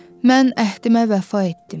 Mən əhdimə vəfa etdim.